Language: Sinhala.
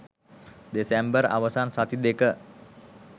දෙසැම්බර් අවසන් සති දෙක